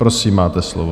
Prosím, máte slovo.